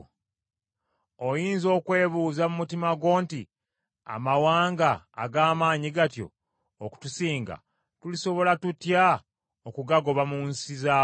Oyinza okwebuuza mu mutima gwo nti, “Amawanga ag’amaanyi gatyo okutusinga, tulisobola tutya okugagoba mu nsi zaago?”